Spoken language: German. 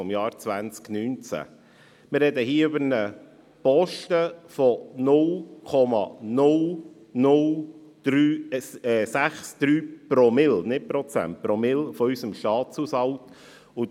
Wir sprechen hier über einen Posten von 0,063 Promille – nicht Prozente – unseres Staatshaushaltes.